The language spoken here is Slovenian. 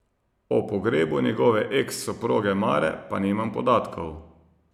O pogrebu njegove eks soproge Mare pa nimam podatkov.